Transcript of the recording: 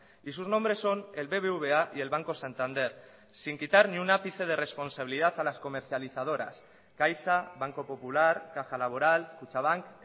y sus nombres son el bbva y el banco santander sin quitar ni un ápice de responsabilidad a las comercializadoras caixa banco popular caja laboral kutxabank